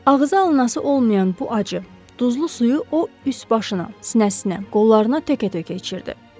Ağzı alınaası olmayan bu acı, duzlu suyu o üst başına, sinəsinə, qollarına təkə-tökə içirdi.